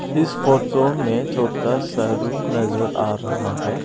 इस फोटो में छोटा सा रूम नजर आ रहा है।